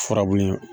Furabulu ye